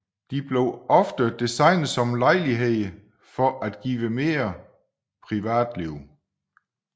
De blev ofte designet som lejligheder for at give mere privatliv